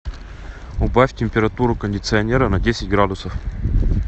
убавь температуру кондиционера на десять градусов